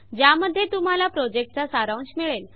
ज्यामध्ये तुम्हाला प्रॉजेक्टचा सारांश मिळेल